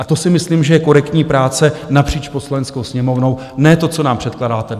A to si myslím, že je korektní práce napříč Poslaneckou sněmovnou, ne to, co nám předkládáte dnes!